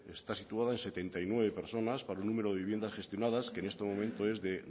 está situada en setenta y nueve personas para un número de viviendas gestionadas que en este momento es de